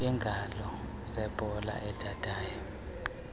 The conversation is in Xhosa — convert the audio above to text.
iingalo zebhola edadayo